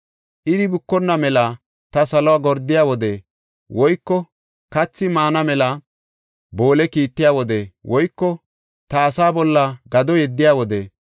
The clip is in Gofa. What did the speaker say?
Iri bukonna mela ta saluwa gordiya wode woyko kathi maana mela boole kiittiya wode woyko ta asaa bolla gado yeddiya wode